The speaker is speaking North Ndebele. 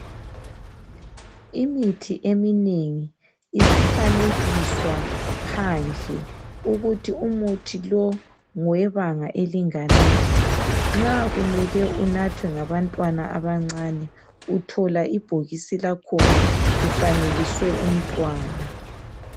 Imithi eminengi isifanekiswa phandle ukuthi umuthi lo ngowebanga elinganani. Nxa kumele unathwe ngabantwana abancane uthola ibhokisi lakhona kufanekiswe umntwana.